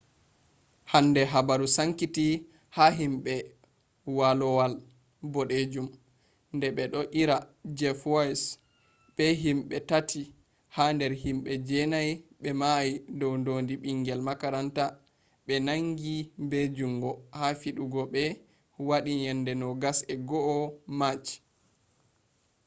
hande habaru sankiti ha himbe walowal bodejum de bedo ira jeff weise be himbe tati ha der himbe jenai be mayi dow dodi bingel makaranta be nangi be jungo ha fidego be wadi yaande 21 march